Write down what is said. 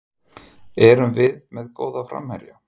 Erum við með góða framherja?